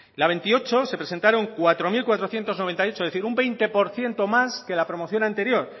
la veintiocho se presentaron cuatro mil cuatrocientos noventa y ocho es decir un veinte por ciento más que la promoción anterior